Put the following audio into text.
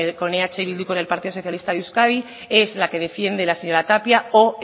con eh bildu y con el partido socialista de euskadi es la que defiende la señora tapia o